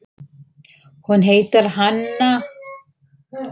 Hún heitir Hanna.